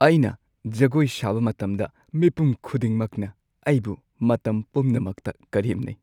ꯑꯩꯅ ꯖꯒꯣꯏ ꯁꯥꯕ ꯃꯇꯝꯗ ꯃꯤꯄꯨꯝ ꯈꯨꯗꯤꯡꯃꯛꯅ ꯑꯩꯕꯨ ꯃꯇꯝ ꯄꯨꯝꯅꯃꯛꯇ ꯀꯔꯦꯝꯅꯩ꯫